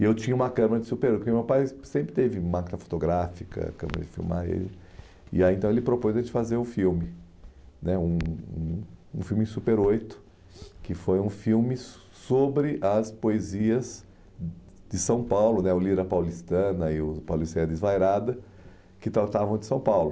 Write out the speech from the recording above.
E eu tinha uma câmera de super oito, porque meu pai sempre teve máquina fotográfica, câmera de filmar, e aí então ele propôs a gente fazer o filme, né um um filme de super oito, que foi um filme sobre as poesias de São Paulo, o Lira Paulistana e o Pauliceia Desvairada, que tratavam de São Paulo.